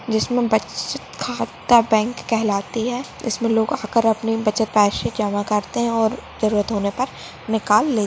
जिसमे बचत खाता बैंक कहलाती है जिसमे लोग आकर अपनी बचत पैसे जमा करते है और जरुरत होने पर निकाल--